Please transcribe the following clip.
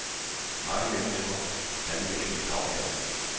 Mange mennesker kan lide at spise lagkage.